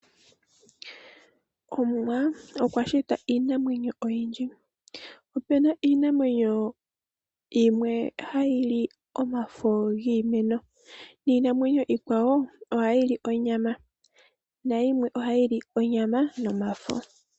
Omuwa okwa shita iinamwenyo oyindji. Opena iinamwenyo yimwe hayi li omafo giimeno. Niinamwenyo iikwawo ohayi.li onyama. Nayimwe ohayi li onyama nomafo.